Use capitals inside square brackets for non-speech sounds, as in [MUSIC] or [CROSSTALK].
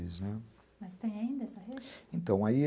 [UNINTELLIGIBLE] Mas tem ainda essa rede? Então, aí